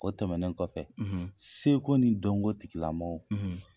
O tɛmɛnen kɔfɛ, seko ni dɔnko tigila mɔgɔw